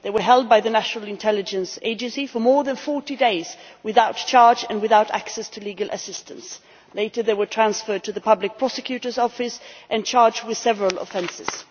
They were held by the National Intelligence Agency for more than 40 days without charge and without access to legal assistance. Later they were transferred to the Public Prosecutor's Office and charged with several offences.